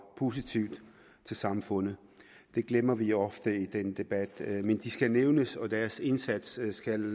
positivt til samfundet det glemmer vi ofte i den debat men de skal nævnes og deres indsats skal